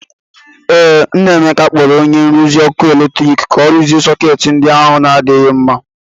Ee, nna Emeka kpọrọ onye nrụzi ọkụ eletrik ka o rụzie sọketị ndi ahụ na adịghị mma.